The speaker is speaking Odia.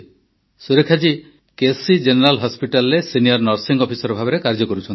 ସୁରେଖା ଜୀ କେସି ଜେନେରାଲ ହସ୍ପିଟାଲ୍ରେ ସିନିୟର ନର୍ସିଂ ଅଫିସର ଭାବେ କାର୍ଯ୍ୟ କରୁଛନ୍ତି